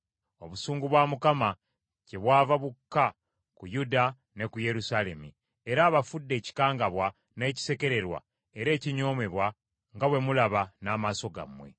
Obusungu bwa Mukama kyebwava bukka ku Yuda ne ku Yerusaalemi, era abafudde ekikangabwa, n’ekisekererwa era ekinyoomebwa, nga bwe mulaba n’amaaso gammwe.